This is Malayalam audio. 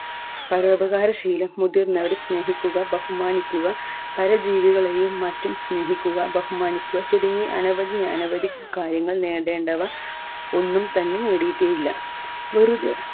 പരോപകാര ശീലം മുതിർന്നവരെ സ്നേഹിക്കുക ബഹുമാനിക്കുക പര ജീവികളെയും മറ്റും സ്നേഹിക്കുക ബഹുമാനിക്കുക തുടങ്ങി അനവധി അനവധി കാര്യങ്ങൾ നേടേണ്ടവ ഒന്നും തന്നെ നേടിയിട്ടെ ഇല്ല വെറുതെ